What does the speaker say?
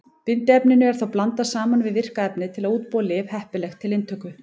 Bindiefninu er þá blandað saman við virka efnið til að útbúa lyf heppileg til inntöku.